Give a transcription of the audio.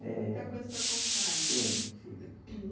É. Tem muita coisa para contar ainda. Sim, sim